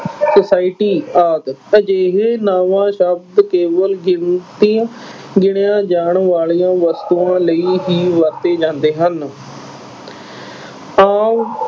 society ਆਦਿ। ਅਜਿਹੇ ਨਾਵਾਂ ਸ਼ਬਦ ਕੇਵਲ ਗਿਣਤੀ ਗਿਣੀਆਂ ਜਾਣ ਵਾਲੀਆਂ ਵਸਤੂਆਂ ਲਈ ਹੀ ਵਰਤੇ ਜਾਂਦੇ ਹਨ।